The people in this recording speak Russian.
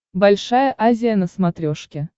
большая азия на смотрешке